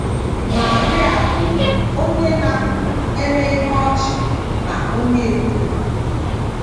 Maria bụbu onye na - eme ihe ọchị na onye ekwurekwu.